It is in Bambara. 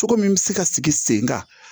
Cogo min bɛ se ka sigi sen kan